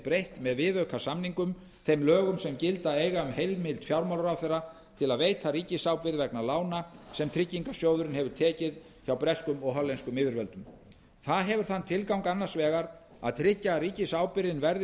breytt með viðaukasamningunum þeim lögum sem gilda eiga um heimild fjármálaráðherra til að veita ríkisábyrgð vegna lána sem tryggingarsjóðurinn hefur tekið hjá breskum og hollenskum yfirvöldum það hefur þann tilgang annars vegar að tryggja að ríkisábyrgðin verði